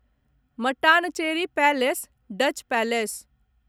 Mattancherry palace Dutch palace